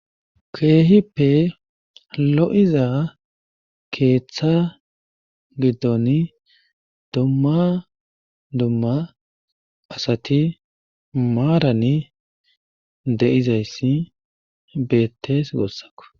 keehippe lo7iza keeththa giddoni dumma dumma asati maarani deizayssi beettes goossako